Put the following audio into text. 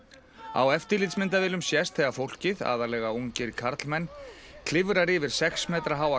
á eftirlitsmyndavélum sést þegar fólkið aðallega ungir karlmenn klifrar yfir sex metra háa